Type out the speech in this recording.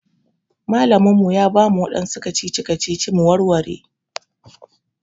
Malamin mu ya bamu waɗansu kacici-kacici mu warware.